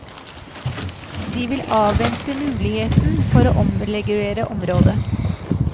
De vil avvente muligheten for å omregulere området.